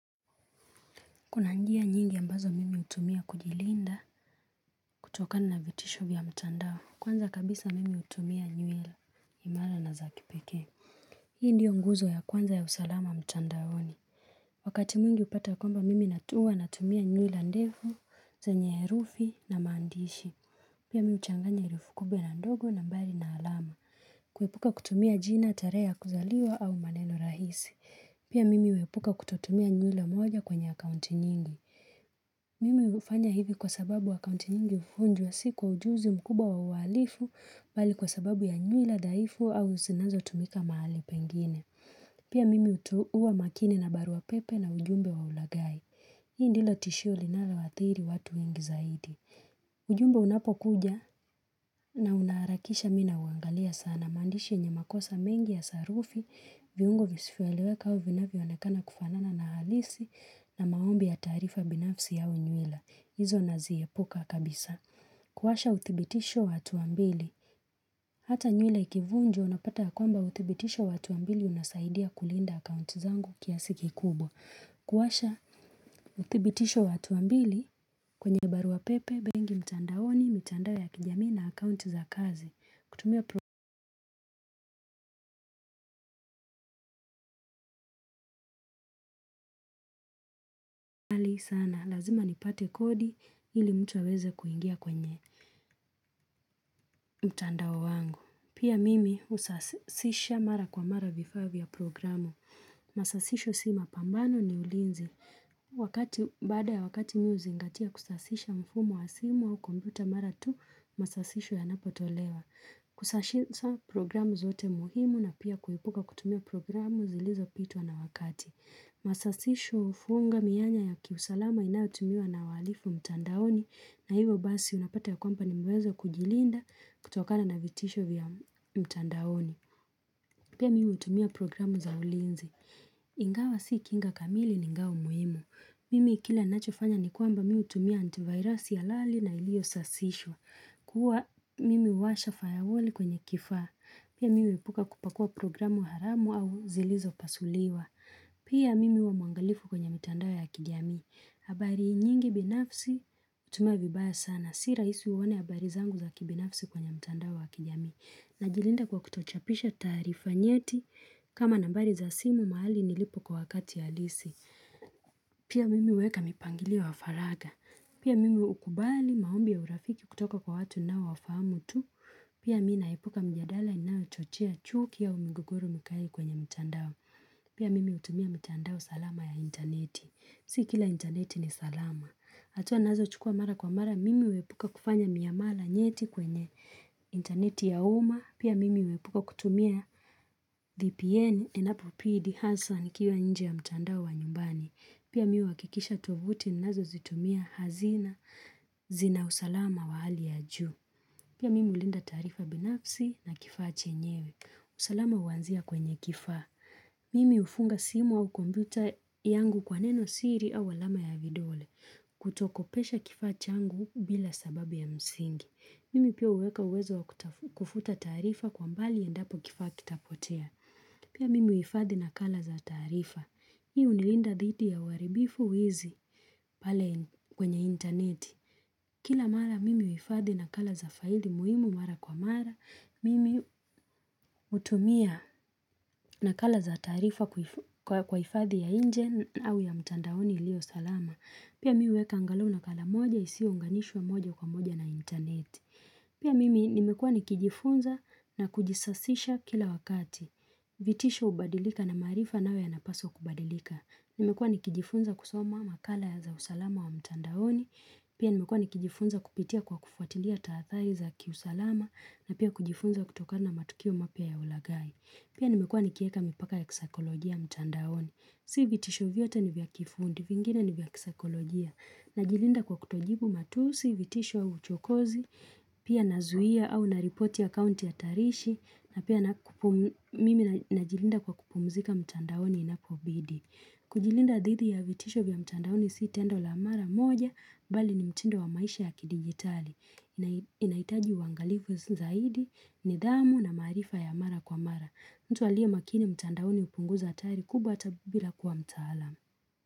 Kuna njia nyingi ambazo mimi utumia kujilinda kutokana na vitisho vya mtandao kwanza kabisa mimi utumia nyuel imala na zakipekee. Hii ndio nguzo ya kwanza ya usalama mtandaoni. Wakati mwingi upata kwamba mimi natu hua na tumia nywila ndefu zenye herufi na maandishi. Pia mimi uchanganya erufi kubwa na ndogo na ambayo ina alama. Kuepuka kutumia jina tarehe ya kuzaliwa au maneno rahisi. Pia mimi uepuka kutotumia nywila moja kwenye akaunti nyingi. Mimi hufanya hivi kwa sababu akaunti nyingi hufunjwa si kwa ujuzi mkubwa wa uhalifu bali kwa sababu ya nywila dhaifu au zinazo tumika mahali pengine. Pia mimi utu hua makini na barua pepe na ujumbe wa ulaghai. Hii ndilo tishio linaloathiri watu wengi zaidi. Ujumbe unapo kuja na unaarakisha mina uangalia sana. Maandishi nyenye makosa mengi ya sarufi, viungo visifoeleweka auvinavyo anekana kufanana na halisi na maombi ya taarifa binafsi au nywila. Izo naziepuka kabisa. Kuwasha uthibitisho wa hatuambili. Hata nywila ikivunjwa unapata ya kwamba uthibitisho wa hatuambili unasaidia kulinda akaunt zangu kiasi ki kubwa. Kuwasha uthibitisho wa hatuambili kwenye barua pepe, bengi mtandaoni, mitandao ya kijamii na akaunti za kazi. Kutumia mali sana, lazima nipate kodi ili mtu aweze kuingia kwenye mtandao wangu. Pia mimi usasisha mara kwa mara vifaa vya programu. Masasisho sima pambano ni ulinzi. Wakati, baada ya wakati mi huzingatia kusasisha mfumo wa simu au kombuta mara tu, masasisho yanapo tolewa. Kusasisha programu zote muhimu na pia kuepuka kutumia programu zilizo pitwa na wakati. Masasisho ufunga mianya ya kiusalama inayotumiwa na waalifu mtandaoni na hivo basi unapata ya kwamba nimeweza kujilinda kutokana na vitisho vya mtandaoni Pia mi hutumia programu za ulinzi Ingawa si kinga kamili ningao muhimu Mimi kila nachofanya ni kwamba mi hutumia antivirasi halali na ilio sasishwa Kua mimi uwasha fayawoli kwenye kifaa Pia miu ipuka kupakua programu haramu au zilizo pasuliwa Pia mimi hua mwangalifu kwenye mitandao ya kijamii. Habari nyingi binafsi hutumiwa vibaya sana Si raisi uone habari zangu za kibinafsi kwenye mtandao wa kijamii Najilinda kwa kutochapisha taarifa nyeti kama nambari za simu maali nilipo kwa wakati halisi Pia mimi hueka mipangilio wa faraga Pia mimi ukubali maombi ya urafiki kutoka kwa watu ninao wafamu tu Pia mi naepuka mjadala inayo chochea chuki au migogoro mkai kwenye mtandao Pia mimi hutumia mtandao salama ya interneti, si kila interneti ni salama. Hatua nazo chukua mara kwa mara, mimi huepuka kufanya miamala nyeti kwenye interneti ya umma, pia mimi huepuka kutumia dhpn, inapo pidi, hasan, kiwa nje ya myandao wa nyumbani. Pia mimi huakikisha tovuti, nazo zitumia hazina, zina usalama wa hali ya juu. Pia mimi ulinda taarifa binafsi na kifaa chenyewe, usalama huanzia kwenye kifaa. Mimi hufunga simu au kombuta yangu kwa neno siri au alama ya vidole kutokopesha kifaachangu bila sababu ya msingi. Mimi pia hueka uwezo kutafu kufuta taarifa kwa mbali endapo kifaaki tapotea. Pia mimi uifadhi na kala za taarifa. Hi unilinda dhidi ya uaribifu uizi pale kwenye interneti. Kila mara mimi uifadhi na kala za faili muhimu mara kwa mara, mimi utumia na kala za taarifa kuif kwa kwa ifadhi ya inje au ya mtandaoni ilio salama. Pia mi hueka angalauna kala moja isiyounganishwa moja kwa moja na internet. Pia mimi nimekuwa nikijifunza na kujisasisha kila wakati. Vitisho ubadilika na maarifa nayo ya napaswa kubadilika. Nimekuwa nikijifunza kusoma makala ya za usalama wa mtandaoni. Pia nimekuwa nikijifunza kupitia kwa kufuatilia taathari za kiusalama na pia kujifunza kutoka na matukio mapya ya ulaghai. Pia nimekuwa nikieka mipaka ya kisaikolojia mtandaoni. Si vitisho vyote ni vya kifundi, vingine ni vya kisaikolojia. Najilinda kwa kutojibu matusi, vitisho au chokozi, pia nazuia au naripoti akaunti hatarishi, na pia napum mimi najilinda kwa kupumzika mtandaoni inapobidi. Kujilinda dhithi ya vitisho vya mtandaoni siitendo la mara moja, bali ni mtindo wa maisha ya kidigitali. Inai Inaitaji uangalifu zaidi, nidhamu na maarifa ya mara kwa mara. Mtu alie makini mtandaoni upunguza atari kubwa atabubila kuwa mtaalam.